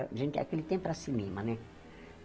Para a gente aquele tempo era cinema, né?